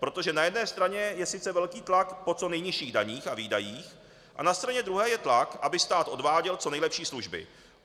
Protože na jedné straně je sice velký tlak po co nejnižších daních a výdajích a na straně druhé je tlak, aby stát odváděl co nejlepší služby.